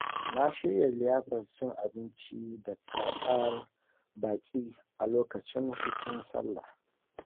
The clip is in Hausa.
Na shirya liyafar cin abinci da karɓar baƙi a lokacin hutun salla.